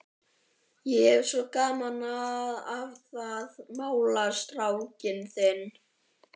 Ég hef svo gaman af að mála strákinn þinn.